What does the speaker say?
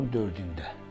Dekabrın 4-də.